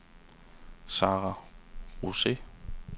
Sarah Rose